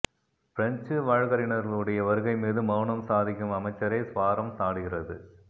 பிரஞ்சு வழக்குரைஞர்களுடைய வருகை மீது மௌனம் சாதிக்கும் அமைச்சரை சுவாராம் சாடுகிறது